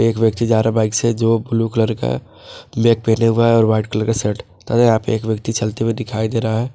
एक व्यक्ति जारा बाइक से जो ब्लू कलर का बैग पहने हुआ है और वाइट कलर का शर्ट तथा यहां पे एक व्यक्ति चलते हुए दिखाई दे रहा है।